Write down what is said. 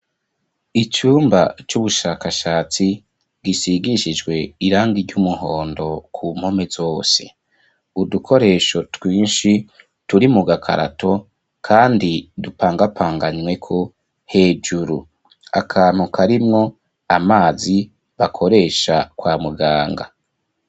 Icumba c'ubushakashatsi bisigishijwe irangi ry'umuhondo ku mpome zose udukoresho twinshi turi mu gakarato kandi dupangapanganyweko hejuru akantu karimwo amazi bakoresha kwa muganga.